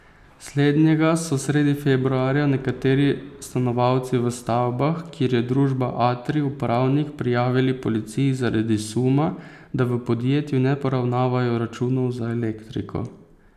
Slednjega so sredi februarja nekateri stanovalci v stavbah, kjer je družba Atrij upravnik prijavili policiji zaradi suma, da v podjetju ne poravnavajo računov za elektriko.